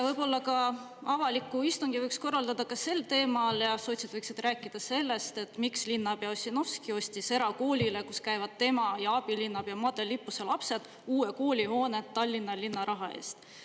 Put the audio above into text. Võib-olla ka avaliku istungi võiks korraldada ka sel teemal ja sotsid võiksid rääkida sellest, et miks linnapea Ossinovski ostis erakoolile, kus käivad tema ja abilinnapea Madle Lippuse lapsed, uue koolihoone Tallinna linna raha eest.